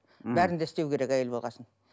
бәрін де істеу керек әйел болған соң